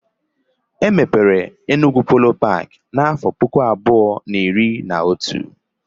E mepere Enugwu Polo paki n'afọ 2011